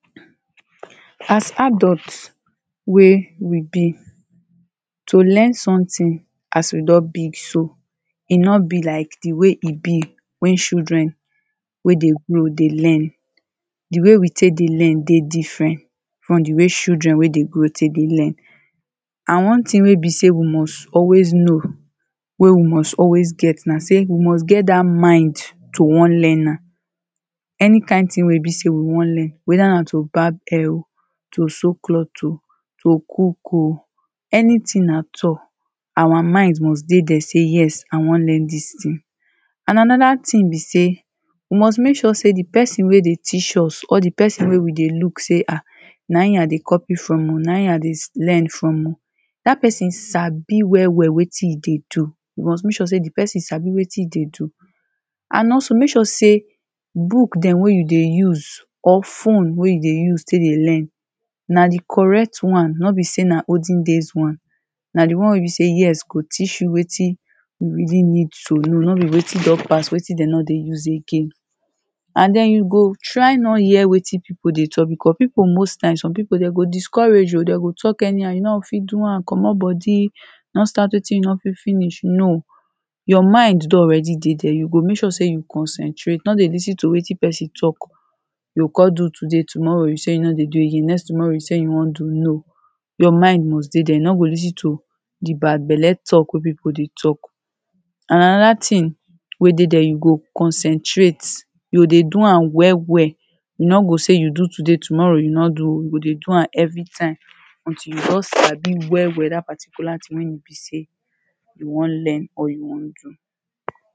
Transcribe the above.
As adult wey we dey to learn something as we don big so e no be like the way e be when children wey dey grow dey learn. The way we take dey learn dey different from the way children wey dey grow take dey learn. And one thing wey be sey we must always know wey we must always get na sey we must get dat mind to wan learn am. Any kind thing wey e be sey we wan learn. Whether na to barb head oh, to sew cloth oh, to cook oh. Anything at all, our mind must dey dere say yes i wan learn dis thing. And another thing be sey You must make sure sey the person wey dey teach us or the person wey we dey look sey ha na im i dey copy from oh. Na im i dey learn from oh. Dat person sabi well well wetin e dey do. You must make sure sey the person sabi wetion e dey do. And also make sure sey bood dem wey you dey use or phone wey you dey use take dey learn na the correct one. No be sey na olden days one. Na the wey be sey yes go teach you wetin you really need to know. No be wetin do pass. Wetin dem no dey use again. And den you go try no hear wetin people dey talk because people most times some people dem go discourage oh. De go talk anyhow. You no go fit do am. Comot body. No start setin you no fit finish, no. Your mind don already dey dere, you go make sure sey you concentrate. No dey lis ten to wetin person talk. You oh con do today, tomorrow you say you no dey do again, next tomorrow you say you wan do, no. Your mind must dey dere. You no go lis ten to the bad belle talk wey people dey talk. And another thing wey dey dere, you go concentrate. You o dey do am well well. You no go say you do today tomorrow you no do. You go dey do am everytime until you don sabi well well dat particular thing wey e be sey you wan learn or you wan do.